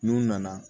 N'u nana